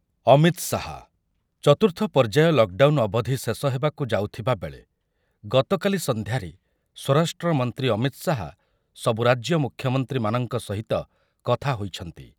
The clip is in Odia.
ଅମିତ ଶାହା, ଚତୁର୍ଥ ପର୍ଯ୍ୟାୟ ଲକଡାଉନ୍ ଅବଧି ଶେଷ ହେବାକୁ ଯାଉଥିବା ବେଳେ ଗତକାଲି ସନ୍ଧ୍ୟାରେ ସ୍ୱରାଷ୍ଟ୍ରମନ୍ତ୍ରୀ ଅମିତ ଶାହା ସବୁ ରାଜ୍ୟ ମୁଖ୍ୟମନ୍ତ୍ରୀମାନଙ୍କ ସହିତ କଥା ହୋଇଛନ୍ତି ।